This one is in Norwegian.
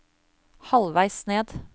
halvveis ned